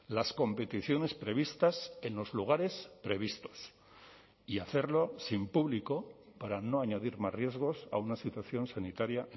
las competiciones previstas en los lugares previstos y hacerlo sin público para no añadir más riesgos a una situación sanitaria